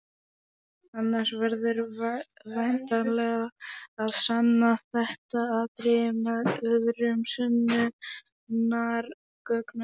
Annars verður væntanlega að sanna þetta atriði með öðrum sönnunargögnum.